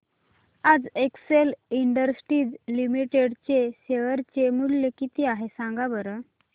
आज Excel Industries Limited चे share चे मूल्य किती आहे सांगा बरं